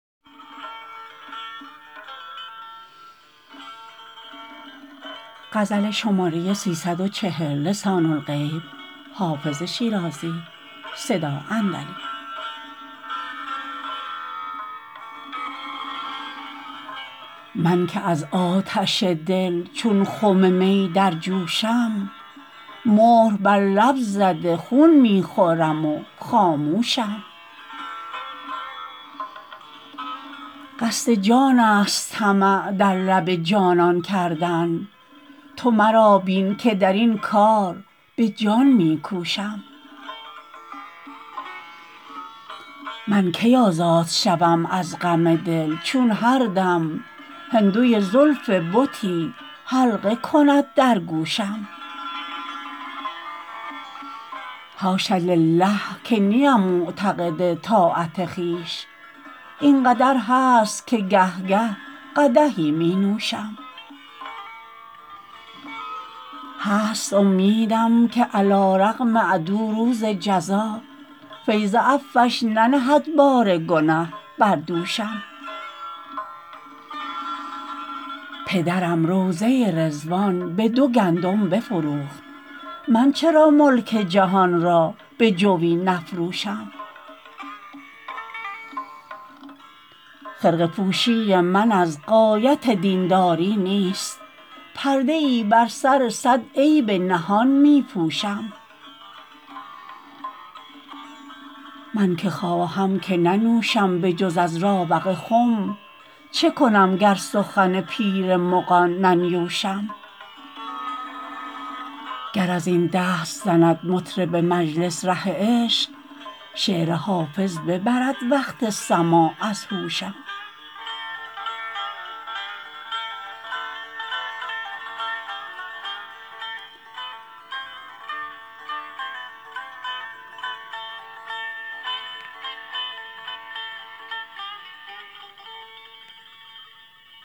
من که از آتش دل چون خم می در جوشم مهر بر لب زده خون می خورم و خاموشم قصد جان است طمع در لب جانان کردن تو مرا بین که در این کار به جان می کوشم من کی آزاد شوم از غم دل چون هر دم هندوی زلف بتی حلقه کند در گوشم حاش لله که نیم معتقد طاعت خویش این قدر هست که گه گه قدحی می نوشم هست امیدم که علیرغم عدو روز جزا فیض عفوش ننهد بار گنه بر دوشم پدرم روضه رضوان به دو گندم بفروخت من چرا ملک جهان را به جوی نفروشم خرقه پوشی من از غایت دین داری نیست پرده ای بر سر صد عیب نهان می پوشم من که خواهم که ننوشم به جز از راوق خم چه کنم گر سخن پیر مغان ننیوشم گر از این دست زند مطرب مجلس ره عشق شعر حافظ ببرد وقت سماع از هوشم